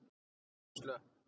Þau voru slöpp.